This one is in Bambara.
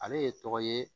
Ale ye tɔgɔ ye